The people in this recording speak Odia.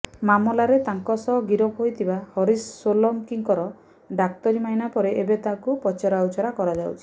ମାମଲାରେ ତାଙ୍କ ସହ ଗିରଫ ହୋଇଥିବା ହରିଶ ସୋଲଙ୍କିର ଡାକ୍ତରୀମାଇନା ପରେ ଏବେ ତାକୁ ପଚରା ଉଚରା କରାଯାଉଛି